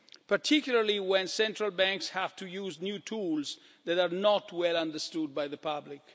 particularly when central banks have to use new tools that are not well understood by the public.